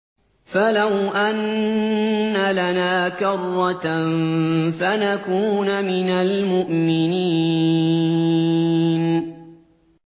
فَلَوْ أَنَّ لَنَا كَرَّةً فَنَكُونَ مِنَ الْمُؤْمِنِينَ